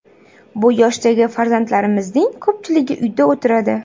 Bu yoshdagi farzandlarimizning ko‘pchiligi uyda o‘tiradi.